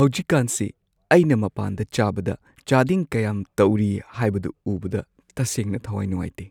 ꯍꯧꯖꯤꯛꯀꯥꯟꯁꯤ ꯑꯩꯅ ꯃꯄꯥꯟꯗ ꯆꯥꯕꯗ ꯆꯥꯗꯤꯡ ꯀꯌꯥꯝ ꯇꯧꯔꯤ ꯍꯥꯏꯕꯗꯨ ꯎꯕꯗ ꯇꯁꯦꯡꯅ ꯊꯋꯥꯏ ꯅꯨꯡꯉꯥꯏꯇꯦ꯫